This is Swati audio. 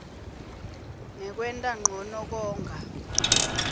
ngekwenta ncono konga